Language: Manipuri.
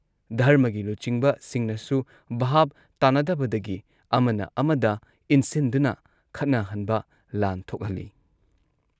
ꯙꯔꯃꯒꯤ ꯂꯨꯆꯤꯡꯕꯁꯤꯡꯅꯁꯨ ꯚꯥꯕ ꯇꯥꯅꯗꯕꯗꯒꯤ ꯑꯃꯅ ꯑꯃꯗ ꯏꯟꯁꯤꯟꯗꯨꯅ ꯈꯠꯅꯍꯟꯕ ꯂꯥꯟ ꯊꯣꯛꯍꯜꯂꯤ